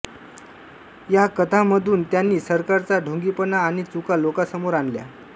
या कथांमधून त्यांनी सरकारचा ढोंगीपणा आणि चुका लोकांसमोर आणल्या